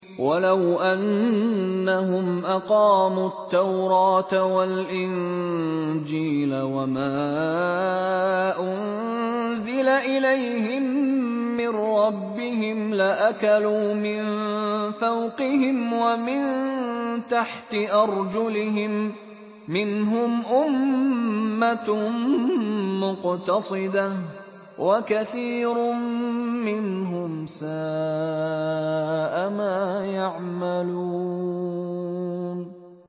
وَلَوْ أَنَّهُمْ أَقَامُوا التَّوْرَاةَ وَالْإِنجِيلَ وَمَا أُنزِلَ إِلَيْهِم مِّن رَّبِّهِمْ لَأَكَلُوا مِن فَوْقِهِمْ وَمِن تَحْتِ أَرْجُلِهِم ۚ مِّنْهُمْ أُمَّةٌ مُّقْتَصِدَةٌ ۖ وَكَثِيرٌ مِّنْهُمْ سَاءَ مَا يَعْمَلُونَ